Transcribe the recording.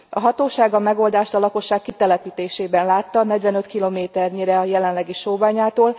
A hatóság a megoldást a lakosság kitelepítésében látta, negyvenöt kilométernyire a jelenlegi sóbányától.